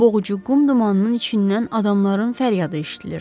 Boğucu qum dumanının içindən adamların fəryadı eşidilirdi.